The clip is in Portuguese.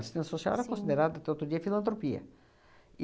Assistência social era considerada, até outro dia, filantropia.